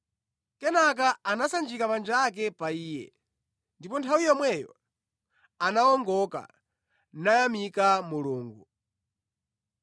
Kenaka anasanjika manja ake pa iye, ndipo nthawi yomweyo anawongoka nayamika Mulungu.